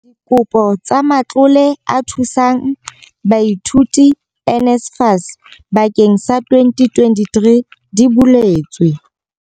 Dikopo tsa Matlole a Thusang Baithuti, NSFAS, bakeng sa 2023 di buletswe.